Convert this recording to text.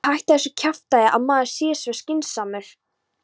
VILTU HÆTTA ÞESSU KJAFTÆÐI AÐ MAÐUR SÉ SVO SKYNSAMUR